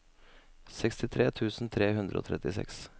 sekstitre tusen tre hundre og trettiseks